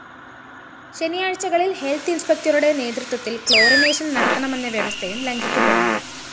ശനിയാഴ്ചകളില്‍ health ഇന്‍സ്‌പെക്ടറുടെ നേതൃത്വത്തില്‍ chlorination നടത്തണമെന്ന വ്യവസ്ഥയും ലംഘിക്കപ്പെടുന്നു